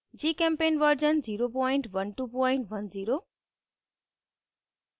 gchempaint version 01210